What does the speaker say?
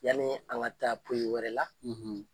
Yani an ka taa poi wɛrɛ la.